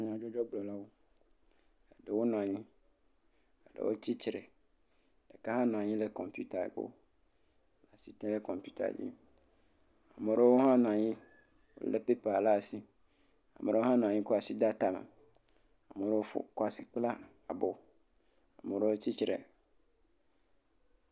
Nyadzɔdzɔgblɔlawo, ɖewo nɔ anyi, ɖewo tsi tre, ɖeka nɔ anyi ɖe kɔmpita gbɔ le asi tem ɖe kɔmpita dzi. Ame aɖewo hã nɔ anyi lé pepa ɖe asi, ame aɖewo hã nɔ anyi kɔ asi de atame. Ame aɖewo ƒo, kɔ asi kpla abɔ, ame aɖewo tsi tre.